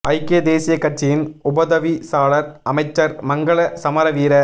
ஐக்கிய தேசியக் கட்சியின் உப தவிசாளர் அமைச்சர் மங்கள சமரவீர